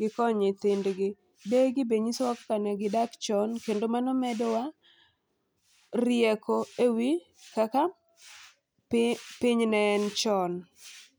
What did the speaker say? giko nyithindgi. Deye gi bende nyiso wa kaka ne gidak chon kendo mano medowa rieko ewi kaka pi piny ne en chon.